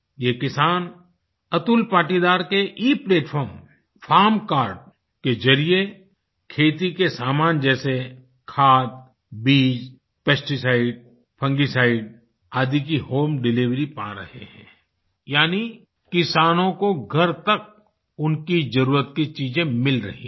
ये किसान अतुल पाटीदार के इप्लेटफार्म फार्म कार्ड के जरिए खेती के सामान जैसे खाद बीज पेस्टीसाइड फंजीसाइड आदि की होम डिलिवरी पा रहे हैं यानी किसानों को घर तक उनकी जरुरत की चीज़ें मिल रही हैं